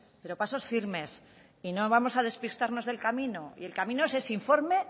pero pasos firmes y no vamos a despistarnos del camino y el camino es ese informe